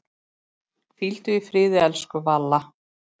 Hvíldu í friði, elsku Valla.